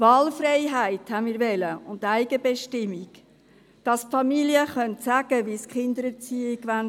Wir wollten Wahlfreiheit und Eigenbestimmung, dass die Familien bestimmen können, wie sie die Kindererziehung machen wollen.